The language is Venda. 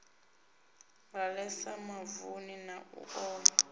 ḓalesa mavuni na u oma